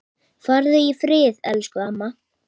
Megi minning hans lifa björt.